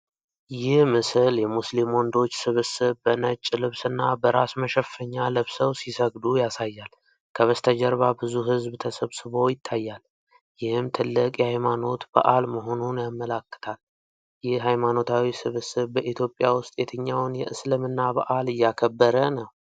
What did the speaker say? ይህ ምስል የሙስሊም ወንዶች ስብስብ በነጭ ልብስና በራስ መሸፈኛ ለብሰው ሲሰግዱ ያሳያል። ከበስተጀርባ ብዙ ሕዝብ ተሰብስቦ ይታያል፤ ይህም ትልቅ የሃይማኖት በዓል መሆኑን ያመለክታል። ይህ ሃይማኖታዊ ስብስብ በኢትዮጵያ ውስጥ የትኛውን የእስልምና በዓል እያከበረ ነው?